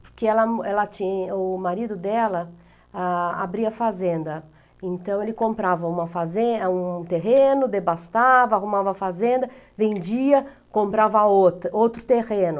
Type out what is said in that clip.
Porque ela ela tinha, o marido dela, ah, abria fazenda, então ele comprava uma fazen um terreno, devastava, arrumava fazenda, vendia, comprava outra outro terreno.